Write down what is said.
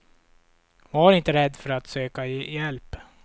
Var inte rädd för att söka hjälp.